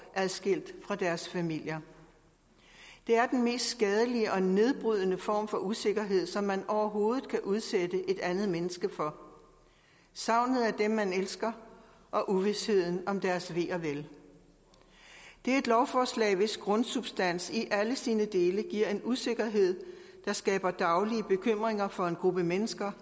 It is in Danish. adskilt fra deres familier det er den mest skadelige og nedbrydende form for usikkerhed som man overhovedet kan udsætte et andet menneske for savnet af dem man elsker og uvisheden om deres ve og vel det er et lovforslag hvis grundsubstans i alle sine dele giver en usikkerhed der skaber daglige bekymringer for en gruppe mennesker